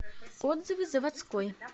отзывы заводской